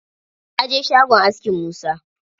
Na je shagon askin Musa.